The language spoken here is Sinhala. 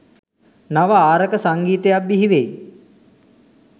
නව ආරක සංගීතයක් බිහිවෙයි